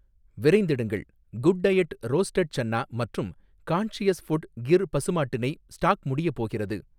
விரைந்திடுங்கள், good diet roasted chana மற்றும் conscious food Gir பசுமாட்டு நெய் ஸ்டாக் முடியப் போகிறது